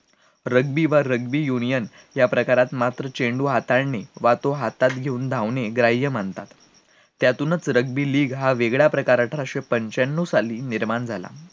rugby व rugby union त्या प्रकारात मात्र चेंडू हाताळणे वा तो हातात घेऊन धावणे ग्राह्य मानल्या जाते, त्यातूनच rugby league हा वेगळ्या प्रकारचा अठराशे पंचाण्णव साली निर्माण झाला